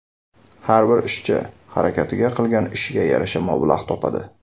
Har bir ishchi harakatiga, qilgan ishiga yarasha mablag‘ topadi.